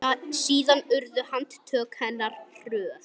Síðan urðu handtök hennar hröð.